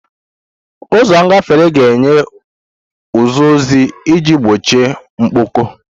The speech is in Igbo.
Ụzọ ngafere na-enye ụzọ ọzọ iji gbochie mkpọkọ.